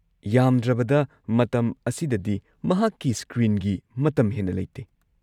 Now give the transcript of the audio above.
ꯌꯥꯝꯗ꯭ꯔꯕꯗ ꯃꯇꯝ ꯑꯁꯤꯗꯗꯤ ꯃꯍꯥꯛꯀꯤ ꯁ꯭ꯀ꯭ꯔꯤꯟꯒꯤ ꯃꯇꯝ ꯍꯦꯟꯅ ꯂꯩꯇꯦ꯫